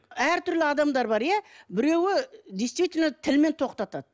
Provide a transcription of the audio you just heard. әртүрлі адамдар бар иә біреуі действительно тілмен тоқтатады